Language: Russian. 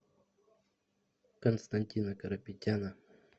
константина карапетяна